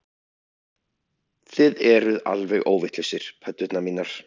Þið eruð alveg óvitlausir, pöddurnar mínar